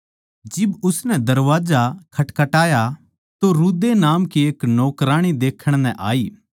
जिब उननै दरबाजा खटखटाया तो रूदे नामक एक नौकराणी देखण नै आई